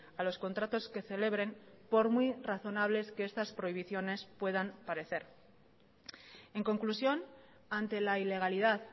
a los contratos que celebren por muy razonables que estas prohibiciones puedan parecer en conclusión ante la ilegalidad